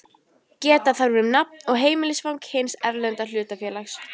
Geta þarf um nafn og heimilisfang hins erlenda hlutafélags.